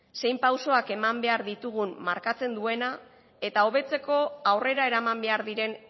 zein pausuak eman beha ditugun markatzen duena eta hobetzeko aurrera eraman behar diren